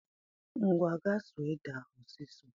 Ngwa ga suo ede ahụ ọsịsọ